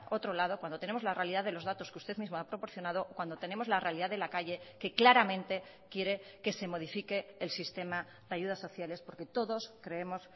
otro lado cuando tenemos la realidad de los datos que usted mismo ha proporcionado cuando tenemos la realidad de la calle que claramente quiere que se modifique el sistema de ayudas sociales porque todos creemos